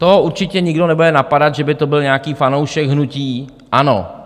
To určitě nikdo nebude napadat, že by to byl nějaký fanoušek hnutí ANO.